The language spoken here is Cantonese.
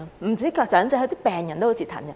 不只長者，病人都很折騰。